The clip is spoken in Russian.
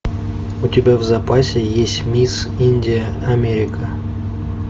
у тебя в запасе есть мисс индия америка